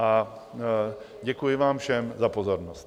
A děkuji vám všem za pozornost.